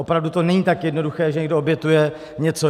Opravdu to není tak jednoduché, že někdo obětuje něco.